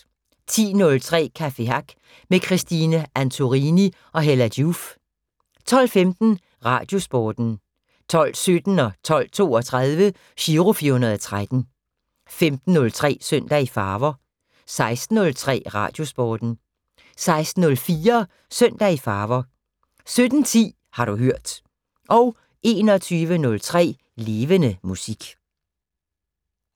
10:03: Café Hack med Christine Antorini og Hella Joof 12:15: Radiosporten 12:17: Giro 413 12:32: Giro 413 15:03: Søndag i Farver 16:03: Radiosporten 16:04: Søndag i Farver 17:10: Har du hørt 21:03: Levende Musik